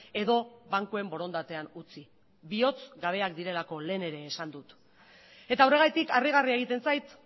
edo bankuen borondatean utzi bihozgabeak direlako lehen ere esan dut eta horregatik harrigarria egiten zait